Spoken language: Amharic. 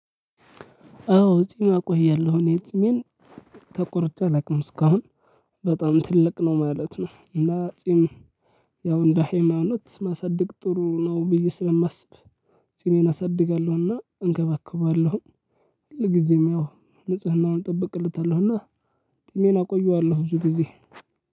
አዎ ጺም አቆያለሁ እኔ ጺምን ተቆርጬ አላውቅም እስካሁን በጣም ትልቅ ነው ማለት ነው። እና ጺም ያው እንደ ሃይማኖት ማሳደግ ጥሩ ነው። ብዬ ስለማስብ። ጺሜን አሳድጋለሁኝ እና እንካባከበዋለሁኝ ሁሉ ግዜም ያው ንጽህናውን እጠብቃለሁኝ። እና ጺሜን አቆየዋለሁ ብዙ ጊዜ።